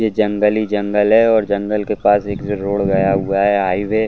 यह जंगल ही जंगल है और जंगल के पास एक जो रोड गया हुआ है हाईवे --